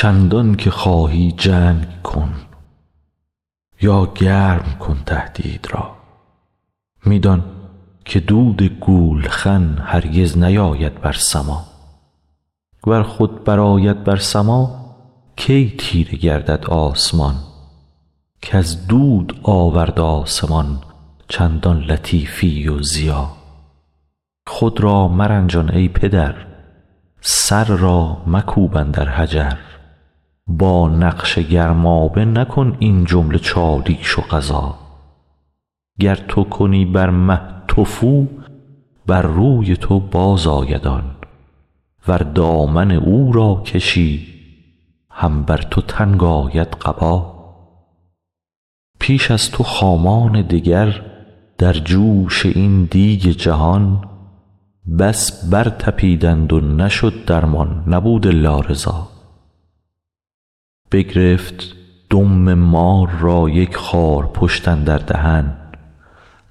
چندانکه خواهی جنگ کن یا گرم کن تهدید را می دان که دود گولخن هرگز نیاید بر سما ور خود برآید بر سما کی تیره گردد آسمان کز دود آورد آسمان چندان لطیفی و ضیا خود را مرنجان ای پدر سر را مکوب اندر حجر با نقش گرمابه مکن این جمله چالیش و غزا گر تو کنی بر مه تفو بر روی تو بازآید آن ور دامن او را کشی هم بر تو تنگ آید قبا پیش از تو خامان دگر در جوش این دیگ جهان بس برطپیدند و نشد درمان نبود الا رضا بگرفت دم مار را یک خارپشت اندر دهن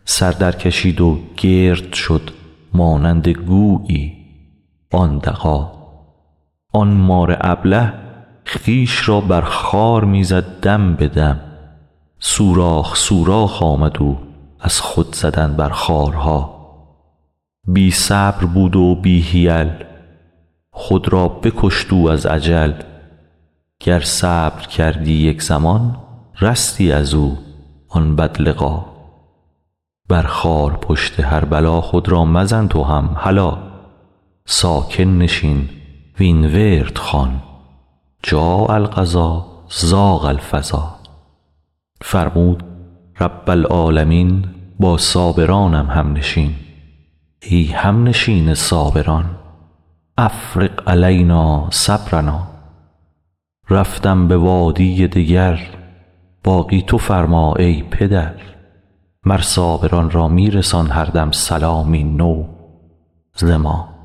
سر درکشید و گرد شد مانند گویی آن دغا آن مار ابله خویش را بر خار می زد دم به دم سوراخ سوراخ آمد او از خود زدن بر خارها بی صبر بود و بی حیل خود را بکشت او از عجل گر صبر کردی یک زمان رستی از او آن بدلقا بر خارپشت هر بلا خود را مزن تو هم هلا ساکن نشین وین ورد خوان جاء القضا ضاق الفضا فرمود رب العالمین با صابرانم همنشین ای همنشین صابران افرغ علینا صبرنا رفتم به وادی دگر باقی تو فرما ای پدر مر صابران را می رسان هر دم سلامی نو ز ما